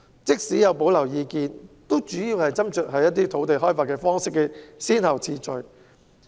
即使有保留意見，主要的斟酌點也只是土地開發的先後次序。